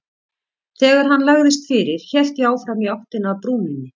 Þegar hann lagðist fyrir hélt ég áfram í áttina að brúninni.